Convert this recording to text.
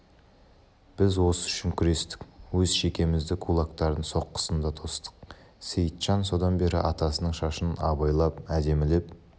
біз осы үшін күрестік өз шекемізді кулактардың соққысында тостық сейітжан содан бері атасының шашын абайлап әдемілеп